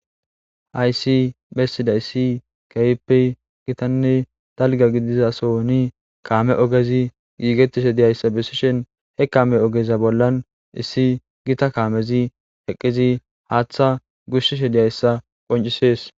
Haysi bessida issi kehppe gitanne dalga gidizasoni kaame ogezi giigettishe diyayssa bessishen he kame ogeza bollan issi gita kaamezi heqqizi haaththa gushsishe diyayssa qoncisees.